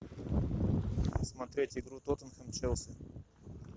смотреть игру тоттенхэм челси